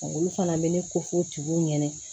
Olu fana bɛ ne ko fɔ tigiw ɲɛna